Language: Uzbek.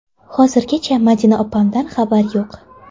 Hozirgacha Madina opamdan xabar yo‘q.